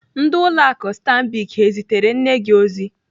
Ndị ụlọ akụ Stambic ezitere nne gi ozi?